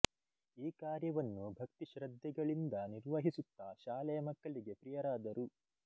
ಈ ಕಾರ್ಯವನ್ನು ಭಕ್ತಿ ಶ್ರದ್ಧೆಗಳಿಂದ ನಿರ್ವಹಿಸುತ್ತ ಶಾಲೆಯ ಮಕ್ಕಳಿಗೆ ಪ್ರಿಯರಾದರು